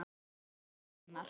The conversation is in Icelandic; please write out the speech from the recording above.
Við munum sakna hennar.